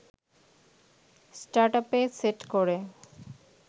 স্টার্টআপে set করে